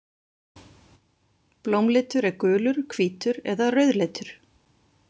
Blómlitur er gulur, hvítur eða rauðleitur.